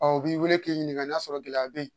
u b'i wele k'i ɲininka n'a sɔrɔ gɛlɛya be yen